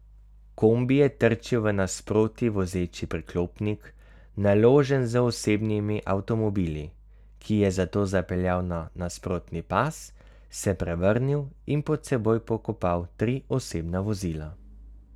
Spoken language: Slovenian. Kombi je trčil v nasproti vozeči priklopnik, naložen z osebnimi avtomobili, ki je zato zapeljal na nasprotni pas, se prevrnil in pod seboj pokopal tri osebna vozila.